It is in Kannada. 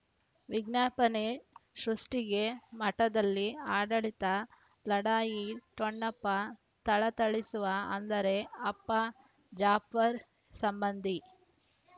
ವಿಜ್ಞಾಪನೆ ಸೃಷ್ಟಿಗೆ ಮಠದಲ್ಲಿ ಆಡಳಿತ ಲಢಾಯಿ ಠೊಣ್ಣಪ್ಪ ಥಳಥಳಿಸುವ ಅಂದರೆ ಅಪ್ಪ ಜಾಫರ್ ಸಂಬಂಧಿ